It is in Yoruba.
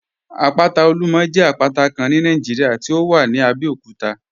Àpátà Olúmọ̀ jẹ àpátà Kán ní Nàìjíríà tí ó wà ní Àbẹ̀òkútà